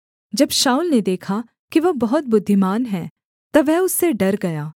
जब शाऊल ने देखा कि वह बहुत बुद्धिमान है तब वह उससे डर गया